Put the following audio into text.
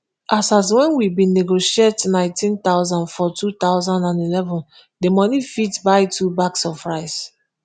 as at wen we bin negotiate neighteen thousand for two thousand and eleven di money fit buy two bags of rice